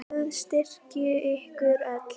Guð styrki ykkur öll.